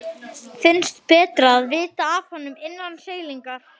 Finnst betra að vita af honum innan seilingar.